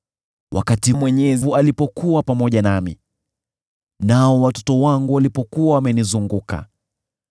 wakati Mwenyezi alikuwa pamoja nami, nao watoto wangu walikuwa wamenizunguka,